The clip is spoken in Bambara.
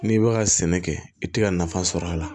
N'i bɛ ka sɛnɛ kɛ i tɛ ka nafa sɔrɔ a la